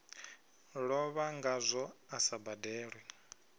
lovha ngazwo a sa badelwe